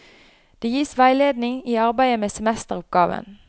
Det gis veiledning i arbeidet med semesteroppgaven.